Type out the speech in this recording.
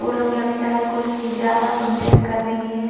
ओ लोग लगता है कोई पूजा या फंक्शन कर रही हैं।